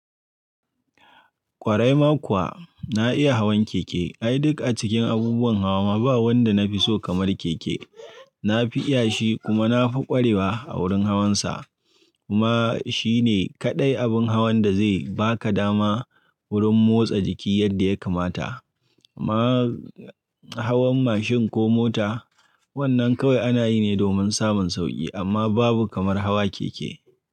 Kwarai ma kuwa, na iya hawan keke. Ai duk a cikin abubuwan hawa ma ba wanda na fi so kamar keke. Na fi iya shi kuma na fi ƙwarewa a wurin hawansa. Kuma shi ne kaɗai abin hawan da zai ba ka dama wurin motsa jiki yadda ya kamata. Amma hawan mashin ko mota, wannan kawai ana yi ne domin samun sauƙi amma babu kamar hawa keke.